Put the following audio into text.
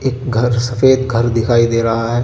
एक घर सफेद घर दिखाई दे रहा है.